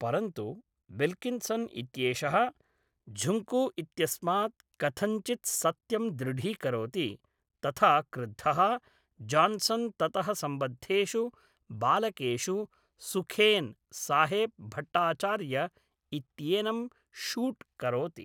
परन्तु, विल्किन्सन् इत्येषः झुङ्कु इत्यस्मात्‌ कथञ्चित्‌ सत्यं दृढीकरोति, तथा क्रुद्धः जान्सन् ततः सम्बद्धेषु बालकेषु सुखेन्साहेब् भट्टाचार्य इत्येनं शूट् करोति।